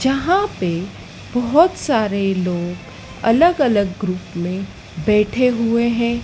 यहां पे बहोत सारे लोग अलग अलग ग्रुप में बैठे हुए हैं।